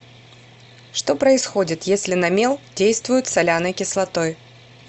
что происходит если на мел действуют соляной кислотой